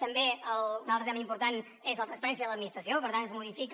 també un altre tema important és la transparència de l’administració per tant es modifica